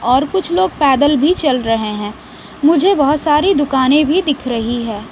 और कुछ लोग पैदल भी चल रहे हैं मुझे बहुत सारी दुकानें भी दिख रही है।